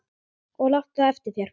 Og láttu það eftir þér.